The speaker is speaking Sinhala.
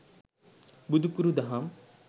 බුදුකුරු දහම්